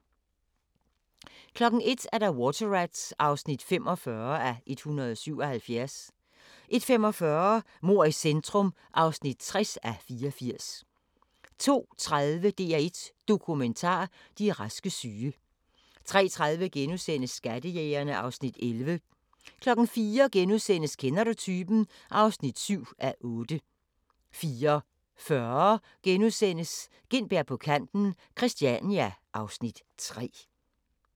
01:00: Water Rats (45:177) 01:45: Mord i centrum (60:84) 02:30: DR1 Dokumentar: De raske syge 03:30: Skattejægerne (Afs. 11)* 04:00: Kender du typen? (7:8)* 04:40: Gintberg på kanten - Christania (Afs. 3)*